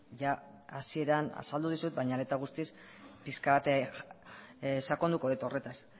jada hasieran azaldu dizut baina are eta guztiz pixka bat sakonduko dut horretaz